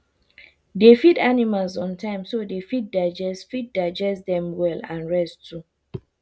dey feed animals on timeso they fit digest fit digest them well and rest too